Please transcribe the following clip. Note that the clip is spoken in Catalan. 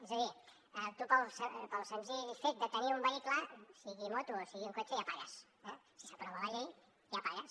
és a dir tu pel senzill fet de tenir un vehicle sigui moto o sigui cotxe ja pagues eh si s’aprova la llei ja pagues